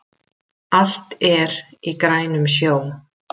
Allt er í grænum sjó